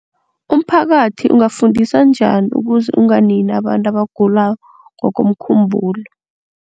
Umphakathi ungafundiswa njani ukuze unganini abantu abagula ngokomkhumbulo?